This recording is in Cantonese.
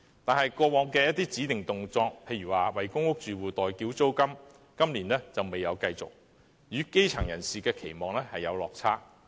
但是，過往一些指定動作，例如為公屋住戶代繳租金今年卻未有繼續，與基層人士的期望有落差。